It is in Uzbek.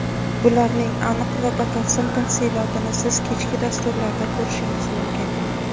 Bularning aniq va batafsil tafsilotini siz kechki dasturlarda ko‘rishingiz mumkin.